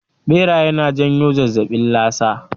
Ɓeraye na janyo zazzaɓin lasa